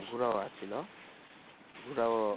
ঘোড়াও ছিল, ঘোড়াও